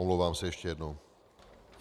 Omlouvám se ještě jednou.